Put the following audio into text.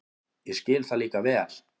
Ég skil það líka vel.